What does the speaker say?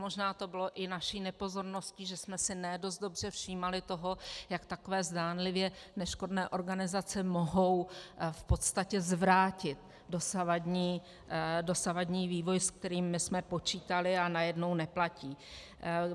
Možná to bylo i naší nepozorností, že jsme si ne dost dobře všímali toho, jak takové zdánlivě neškodné organizace mohou v podstatě zvrátit dosavadní vývoj, se kterým my jsme počítali, a najednou neplatí.